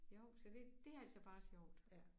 Jo så det det altså bare sjovt